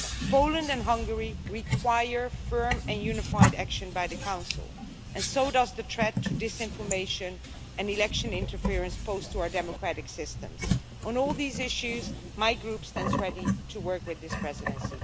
Poland and Hungary require firm and unified action by the Council, and so does the threat to disinformation and election interference posed to our democratic systems. On all these issues, my Group stands ready to work with this Presidency.